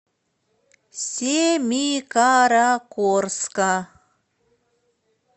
семикаракорска